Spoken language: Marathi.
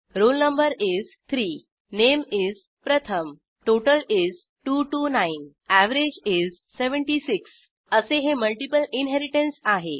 role no is 3 name is Pratham total is 229 average is 76 असे हे मल्टिपल इनहेरिटन्स आहे